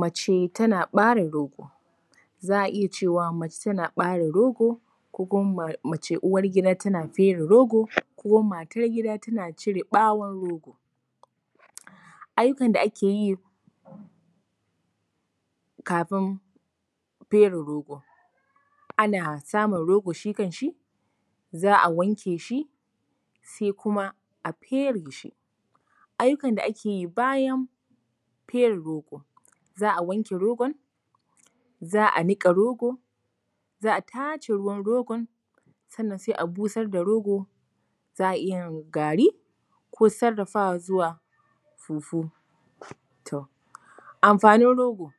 Mace tana ɓare rogo. Za a iya cewa mace tana ɓare rogo, ko kuma mu ce uwar gida tana fere rogo, ko matar gida tana cire ɓawon rogo. Aikin da ake yi kafin fere rogo: ana samun rogo shi kanshi, za a wanke shi, sai kuma a fere shi. Aikin da ake yi bayan fere rogo: za a wanke rogon, za a niƙa rogo, za a tace ruwan rogon, sannan sai a busar da rogon, za a iya yin gari, ko sarrafawa zuwa fufu. To amfanin rogo: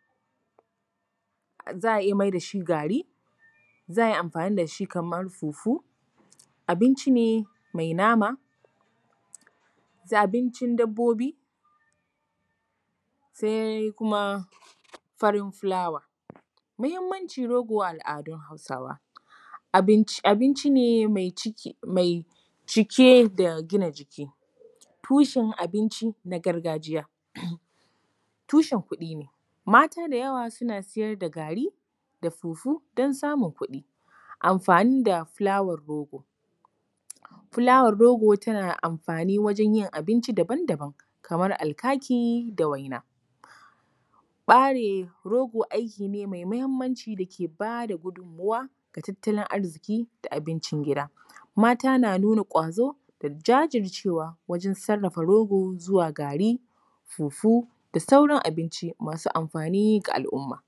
za a iya mai da shi gari, za a yi amfani da shi kamar fufu, abinci ne mai nama, abincin dabbobi, sai kuma farin fulawa. Muhimmancin rogo a al’adun Hausawa: abinci ne mai cike da gina jiki, tushen abinci na gargajiya, tushen kuɗi ne. Mata da yawa suna siyar da gari da fufu don samun kuɗi. amfani da fulawar rogo: fulwar rogo tana amfani wajen yin abinci daban daban, kamar alkaki da waina. Ɓare rogo abu ne mai muhimmanci da ke ba da gudunmuwa ga tattalin arziki da abincin gida. Mata na nuna ƙwazo da jajircewa wajen sarrafa rogo zuwa gari, fufu da sauran abinci masu amfani ga al’umma.